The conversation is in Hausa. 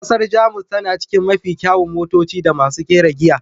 Kasar Jamus tana cikin mafi kyawun motoci da masu kera giya.